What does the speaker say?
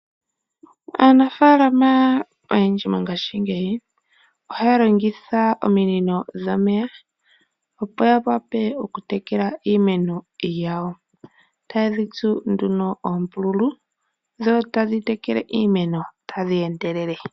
Aanafaalama oyendji mongashingeyi ohaya longitha ominino dhomeya opo ya wape oku tekela iimeno yawo , etaye dhi tsu nduno oombululu dho tadhi tekele iimeno tadhi endelele.